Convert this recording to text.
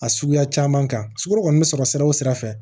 A suguya caman kan sukurun kɔni bɛ sɔrɔ sira o sira fɛ